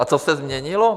A co se změnilo?